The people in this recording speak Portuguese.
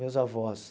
Meus avós.